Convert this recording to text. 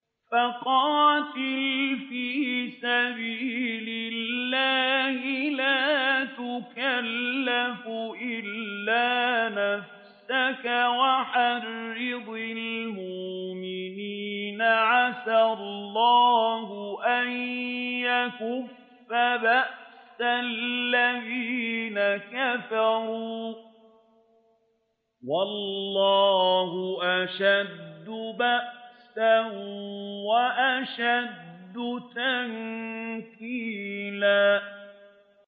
فَقَاتِلْ فِي سَبِيلِ اللَّهِ لَا تُكَلَّفُ إِلَّا نَفْسَكَ ۚ وَحَرِّضِ الْمُؤْمِنِينَ ۖ عَسَى اللَّهُ أَن يَكُفَّ بَأْسَ الَّذِينَ كَفَرُوا ۚ وَاللَّهُ أَشَدُّ بَأْسًا وَأَشَدُّ تَنكِيلًا